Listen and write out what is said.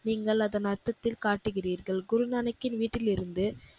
நீங்கள் அதன் அர்த்தத்தில் காட்டுகிறீர்கள். குருநானக்கின் வீட்டிலிருந்து,